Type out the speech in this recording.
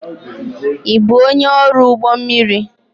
Ị bụ onye ọrụ ụgbọ mmiri?